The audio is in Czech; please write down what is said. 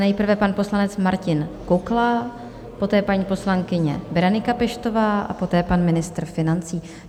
Nejprve pan poslanec Martin Kukla, poté paní poslankyně Berenika Peštová a poté pan ministr financí.